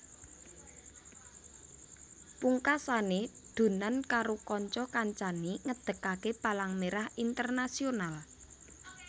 Pungkasane Dunant karo kanca kancane ngedekake Palang Merah Internasional